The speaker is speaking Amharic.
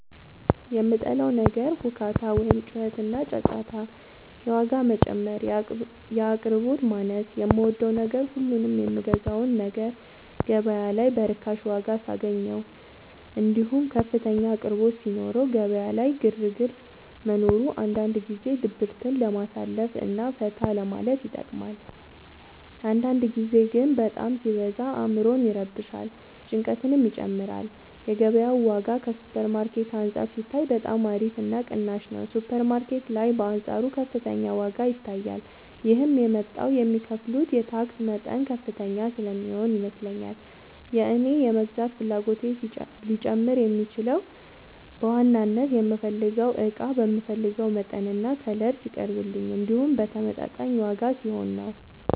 የምጠላው ነገር ሁካታ ወይም ጩኸትና ጫጫታ የዋጋ መጨመር የአቅርቦት ማነስ የምወደው ነገር ሁሉንም የምገዛውን ነገር ገበያ ላይ በርካሽ ዋጋ ሳገኘው እንዲሁም ከፍተኛ አቅርቦት ሲኖረው ገበያ ላይ ግርግር መኖሩ አንዳንድ ጊዜ ድብርትን ለማሳለፍ እና ፈታ ለማለት ይጠቅማል አንዳንድ ጊዜ ግን በጣም ሲበዛ አዕምሮን ይረብሻል ጭንቀትንም ይጨምራል የገበያው ዋጋ ከሱፐር ማርኬት አንፃር ሲታይ በጣም አሪፍ እና ቅናሽ ነው ሱፐር ማርኬት ላይ በአንፃሩ ከፍተኛ ዋጋ ይታያል ይህም የመጣው የሚከፍሉት የታክስ መጠን ከፍተኛ ስለሚሆን ይመስለኛል የእኔ የመግዛት ፍላጎቴ ሊጨምር የሚችለው በዋናነት የምፈልገው እቃ በምፈልገው መጠንና ከለር ሲቀርብልኝ እንዲሁም በተመጣጣኝ ዋጋ ሲሆን ነው።